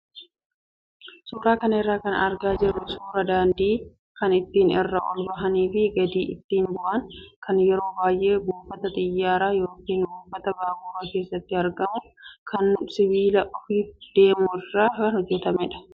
Suuraa kana irraa kan argaa jirru suuraa daandii kan ittiin irra ol bahanii fi gadi ittiin bu'an kan yeroo baay'ee buufata xiyyaaraa yookaan buufata baaburaa keessatti argamu kan sibiila ofiif deemu irraa kan hojjatamudha.